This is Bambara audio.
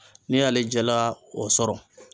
N'i y'ale jala o sɔrɔ.